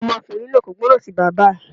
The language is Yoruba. Ọmọkùnrin náà kò gbọ́ràn sí bàbá ẹ̀.